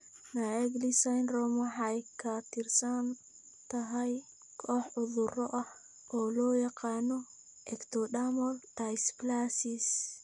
Naegeli syndrome waxay ka tirsan tahay koox cudurro ah oo loo yaqaan 'ectodermal dysplasias'.